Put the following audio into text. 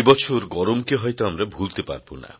এবছর গরমকে হয়ত আমরা ভুলতে পারবো না